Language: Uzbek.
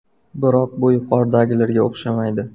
Biroq bu yuqoridagilarga o‘xshamaydi.